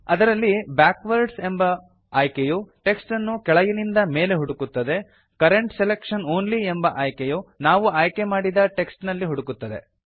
ಅದರಲ್ಲಿ ಬ್ಯಾಕ್ವರ್ಡ್ಸ್ ಎಂಬ ಆಯ್ಕೆಯು ಟೆಕ್ಸ್ಟ್ ಅನ್ನು ಕೆಳಗಿನಿಂದ ಮೇಲೆ ಹುಡುಕುತ್ತದೆ ಕರೆಂಟ್ ಸೆಲೆಕ್ಷನ್ ಆನ್ಲಿ ಎಂಬ ಆಯ್ಕೆಯು ನಾವು ಆಯ್ಕೆಮಾಡಿದ ಟೆಕ್ಸ್ಟ್ ನಲ್ಲಿ ಹುಡುಕುತ್ತದೆ